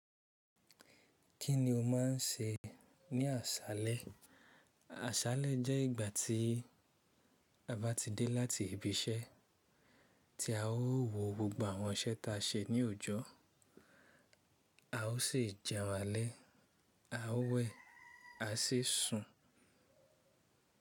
Kí ni o má n ṣe ní àṣálẹ́? Àṣálẹ́ jẹ́ ìgbà tí a bá ti dé láti ibi iṣẹ́ tí a ó wo gbogbo àwọn iṣẹ́ ta ṣe ní òòjọ́. A o sì jẹun alẹ́, a o wẹ̀, a sì sun.